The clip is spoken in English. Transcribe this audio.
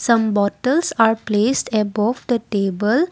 some bottles are placed above the table.